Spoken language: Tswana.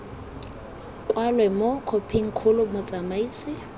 kwalwe mo khophing kgolo motsamaisi